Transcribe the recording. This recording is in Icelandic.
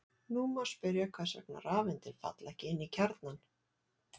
Nú má spyrja hvers vegna rafeindir falla ekki inn í kjarnann.